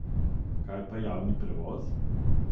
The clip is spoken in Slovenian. Kaj pa javni prevoz?